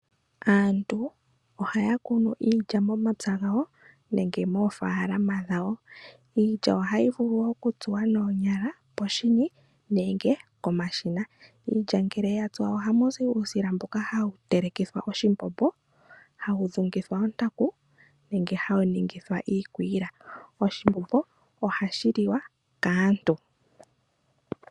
Aantu ohaya kunu iilya momapya gawo nenge moofaalama dhawo. Iilya ohayi vulu okutsuwa noonyala koshini nenge komashina. Iilya ngele ya tsuwa ohamu zi uusila mboka hawu telekithwa oshimbombo, hawu dhungithwa ontaku nenge hawu ningithwa iikwiila. Oshimbombo ohashi liwa kaantu.